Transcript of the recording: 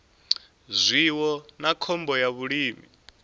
zwiwo na khombo ya vhulimi